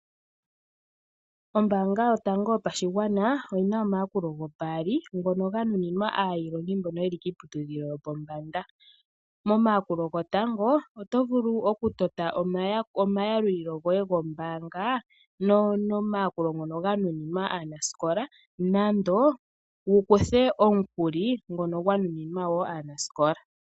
Ombaanga yotango yopashigwana oyina omayakulo gopaali ngono ga nuninwa aailongi mbono yeli kiiputudhilo yopombanda, momayakulo gotango oto vulu oku tota omayalulilo goye gombaanga nomayakulo ngono ga nuninwa aanasikola nando wu kuthe omukuli ngono gwa nuninwa wo aanasikola.